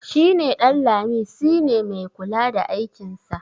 shi neƊanlami si ne mai kula da aikinsa